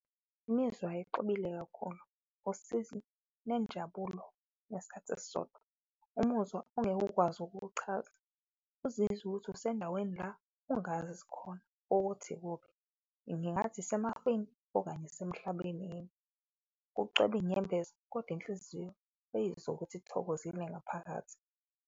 Imizwa exubile kakhulu usizi nenjabulo ngesikhathi esisodwa, umuzwa ongeke ukwazi ukuwuchaza, uzizwe ukuthi usendaweni la ongazi khona ukuthi ikuphi. Ngingathi isemafini okanye isemhlabeni yini, kucwebe inyembezi kodwa inhliziyo uyizwe ukuthi ithokozile ngaphakathi.